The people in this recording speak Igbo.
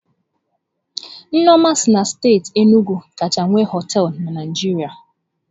Nneoma si na steeti Enugwu kacha nwee hoteelu na Naịjirịa.